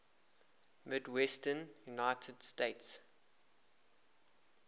midwestern united states